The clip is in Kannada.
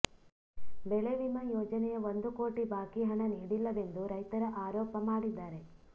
ಬೆಳೆ ವಿಮಾ ಯೋಜನೆಯ ಒಂದು ಕೋಟಿ ಬಾಕಿ ಹಣ ನೀಡಿಲ್ಲವೆಂದು ರೈತರ ಆರೋಪ ಮಾಡಿದ್ದಾರೆ